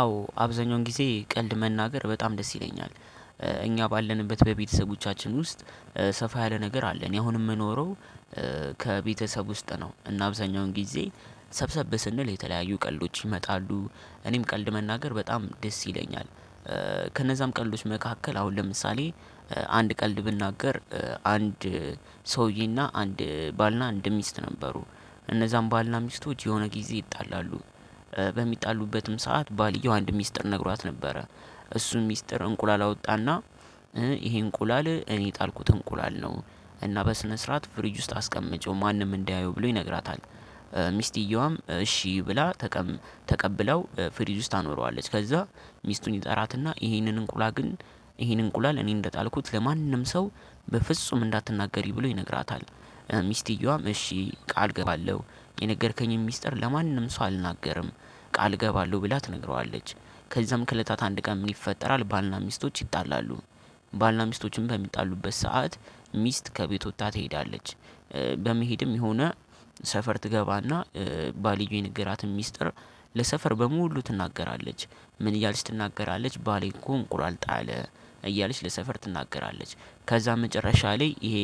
አዎ አብዛኛውን ጊዜ ቀልድ መናገር በጣም ደስ ይለኛል። እኛ ባለንበት በቤተሰቦቻችን ውስጥ ሰፋ ያለ ነገር አለ። እኔ አሁን የምኖረው ከቤተሰብ ውስጥ ነው። እና አብዛኛውን ጊዜ ሰብሰብ ስንል የተለያዩ ቀልዶች ይመጣሉ እኔም ቀልድ መናገር በጣም ደስ ይለኛል። ከነዛም ቀልዶች መካከል አሁን ለምሳሌ አንድ ቀልድ ብናገር። አንድ ሰውዬና አንድ ባልና አንድ ሚስት ነበሩ። እነዛም ባልና ሚስቶች የሆነ ጊዜ ይጣላሉ። በሚጣሉበትም ሰዓት ባልየው አንድ ሚስጥር ነግሯት ነበረ። እሱን ሚስጥር እንቁላል አወጣና ይሄ እንቁላል እኔ የጣልኩት እንቁላል ነው። እና በስነ ስርዓት ፍሪጅ ውስጥ አስቀመጨው ማንም እንዳየው ብሎ ይነግራታል። ሚስቲየዋም እሺ ብላ ተቀብላው ፍሪጅ ውስጥ ታኖረዋለች። ከዛ ሚስቱን ይጠራትና ይሄንን እንቁላል ግን ይሄን እንቁላል እኔ እንደጣልኩት ለማንም ሰው በፍጹም እንዳትናገሪ ብሎ ይነግራታል። ሚስቲየዋም እሺ ቃል እገባለሁ የነገርከኝን ሚስጥር ለማንም ሰው አልናገርም ቃል እገባለሁ ብላ ትነግረዋለች። ከዛም ከለታት አንድ ቀን ምን? ይፈጠራል ባልና ሚስቶች ይጣላሉ። ባልና ሚስቶችም በሚጣሉበት ሰዓት ሚስት ከቤት ወጥታ ትሄዳለች። በመሄድም የሆነ ሰፈር ትገባና ባልየው የነገራትን ሚስጥር ለሰፈር በሙሉ ትናገራለች። ምን እያልሽ ትናገራለች? ባሌ እኮ እንቁላል ጣለ እያለች ለሰፈር ትናገራለች። ከዛ መጨረሻ ላይ ይሄ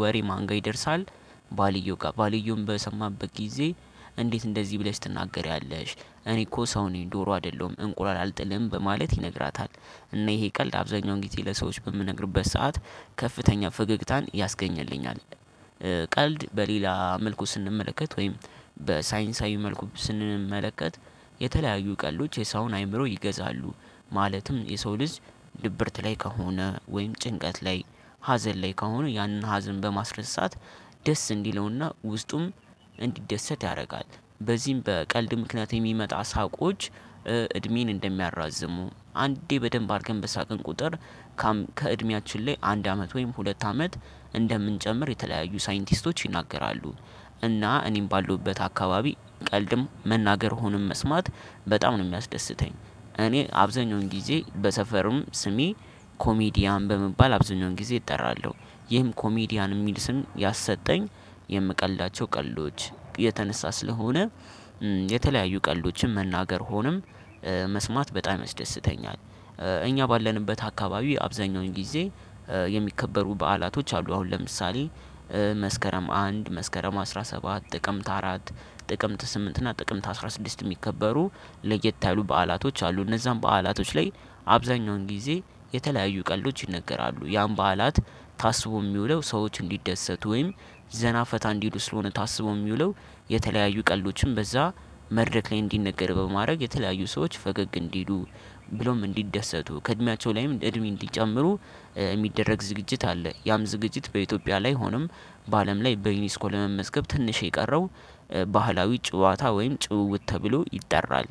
ወሬ ማን ጋር ይደርሳል? ባልየው ጋር ባልየዉም በሰማበት ጊዜ። እንዴት እንደዚህ ብለሽ ትናገሪያለሽ? እኔ እኮ ሰው ነኝ ዶሮ አይደለሁም እንቁላል አልጥልም በማለት ይነግራታል። እና ይሄ ቀልድ አብዛኛው ጊዜ ለሰዎች በምነግርበት ሰዓት ከፍተኛ ፈገግታን ያስገኝልኛል። ቀልድ በሌላ መልኩ ስንመለከት ወይም በሳይንሳዊ መልኩ ስንመለከት የተለያዩ ቀልዶች የሰውን አእምሮ ይገዛሉ። ማለትም የሰው ልጅ ድብርት ላይ ከሆነ ወይም ጭንቀት ላይ ሀዘን ላይ ከሆነ ያንን ሀዘን በማስረሳት ደስ እንዲለውና ውስጡም እንዲደሰት ያደርጋል። በዚህም በቀልድ ምክንያት የሚመጣ ሳቆች እድሜን እንደሚያራዝሙ አንዴ በደንብ አርገን በሳቅን ቁጥር። ከእድሜያችን ላይ አንድ አመት ወይም ሁለት አመት እንደምንጨምር የተለያዩ ሳይንቲስቶች ይናገራሉ። እና እኔም ባለውበት አካባቢ ቀልድም መናገር ሆነም መስማት በጣም ነው የሚያስደስተኝ። እኔ አብዛኛውን ጊዜ በሰፈርም ስሜ ኮሜዲያን በመባል አብዛኛውን ጊዜ እጠራለሁ። ይህም ኮሜዲያን የሚል ስም ያሰጠኝ የምቀልዳቸው ቀልዶች የተነሳ ስለሆነ። የተለያዩ ቀልዶችም መናገር ሆኖም መስማት በጣም ያስደስተኛል። እኛ ባለንበት አካባቢ አብዛኛውን ጊዜ። የሚከበሩ በዓላቶች አሉ አሁን ለምሳሌ። መስከረም አንድ መስከረም አስራ ሰባት ጥቅምት አራት ጥቅምት ስምንት እና ጥቅምት አስራ ስድስት የሚከበሩ ለየት ያሉ በዓላቶች አሉ። እነዛን በዓላቶች ላይ አብዛኛውን ጊዜ የተለያዩ ቀልዶች ይነገራሉ። ያን በዓላት ታስቦ የሚውለው ሰዎች እንዲደሰቱ ወይም ዘና ፈታ እንዲሉ ስለሆነ ታስቦ የሚውለው። የተለያዩ ቀልዶችም በዛ መድረክ ላይ እንዲነገር በማድረግ የተለያዩ ሰዎች ፈገግ እንዲሉ። ብሎም እንዲደሰቱ ከእድሜያቸው ላይም እድሜ እንዲጨምሩ የሚደረግ ዝግጅት አለ። ያም ዝግጅት በኢትዮጵያ ላይ ሆኖም በአለም ላይ በዩኒስኮ ለመመዝገብ ትንሽ የቀረው ባህላዊ ጨዋታ ወይም ጭውውት ተብሎ ይጠራል።